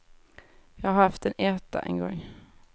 Jag har haft en etta, en gång.